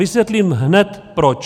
Vysvětlím hned proč.